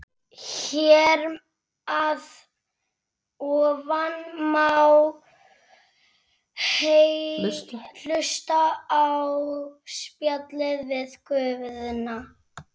Hér að ofan má hlusta á spjallið við Guðna.